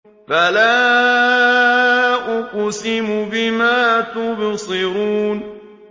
فَلَا أُقْسِمُ بِمَا تُبْصِرُونَ